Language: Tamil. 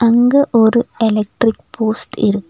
அங்க ஒரு எலக்ட்ரிக் போஸ்ட் இருக்--